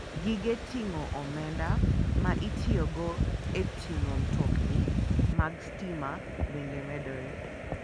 Gige ting'o omenda ma itiyogo e ting'o mtokni mag stima bende medore.